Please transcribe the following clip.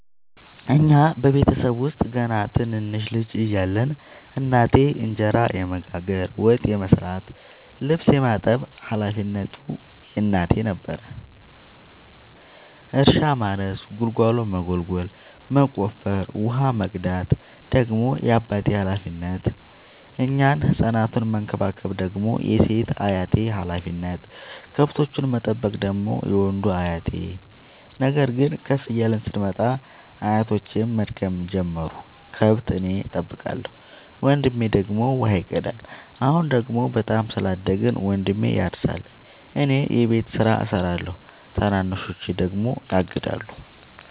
እኛ ቤተሰብ ውስጥ ገና ትንንሽ ልጅ እያለን እናቴ እንጀራ የመጋገር፤ ወጥ የመስራት ልብስ የማጠብ ሀላፊነቱ የእናቴ ነበረ። እርሻ ማረስ ጉልጎሎ መጎልጎል መቆፈር፣ ውሃ መቅዳት ደግሞ የአባቴ ሀላፊነት፤ እኛን ህፃናቱን መከባከብ ደግሞ የሴት አያቴ ሀላፊነት፣ ከብቶቹን መጠበቅ ደግሞ የወንዱ አያቴ። ነገር ግን ከፍ እያልን ስንመጣ አያቶቼም መድከም ጀመሩ ከብት እኔ ጠብቃለሁ። ወንድሜ ደግሞ ውሃ ይቀዳል። አሁን ደግሞ በጣም ስላደግን መንድሜ ያርሳ እኔ የቤቱን ስራ እሰራለሁ ታናናሾቼ ደግሞ ያግዳሉ።